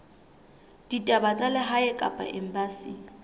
ditaba tsa lehae kapa embasing